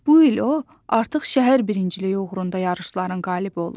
Bu il o, artıq şəhər birinciliyi uğrunda yarışların qalibi olub.